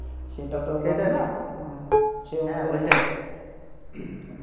সেটা তো ওইটাই